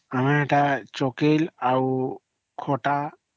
ଆମେ ଏଟା ଚାକିଲ ଆଉ